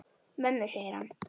Mömmu, segir hann.